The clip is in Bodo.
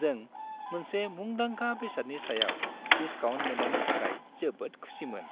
जों मोनसे मुंदांखा बेसादनि सायाव डिसकाउन्ट मोन्नायनि थाखाय जोबोद खुसिमोन,